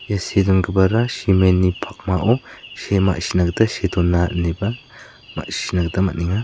ia see dongipara cement-ni pakmao see ma·sina gita see dona ineba ma·sina gita man·enga.